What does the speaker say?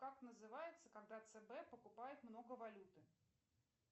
как называется когда цб покупает много валюты